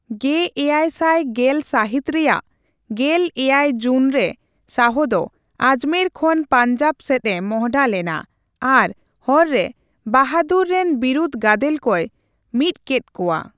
᱑᱗᱑᱐ ᱥᱟᱦᱤᱛ ᱨᱮᱭᱟᱜ ᱜᱮᱞ ᱮᱭᱟᱭ ᱡᱩᱱ ᱨᱮ ᱥᱟᱦᱚ ᱫᱚ ᱟᱡᱢᱮᱨ ᱠᱷᱚᱱ ᱯᱟᱸᱧᱡᱟᱵᱽ ᱥᱮᱫ ᱮ ᱢᱚᱦᱰᱟ ᱞᱮᱱᱟ, ᱟᱨ ᱦᱚᱨ ᱨᱮ ᱵᱟᱦᱟᱫᱩᱨ ᱨᱮᱱ ᱵᱤᱨᱩᱫᱷ ᱜᱟᱫᱮᱞ ᱠᱚᱭ ᱢᱤᱫᱠᱮᱫ ᱠᱚᱣᱟ ᱾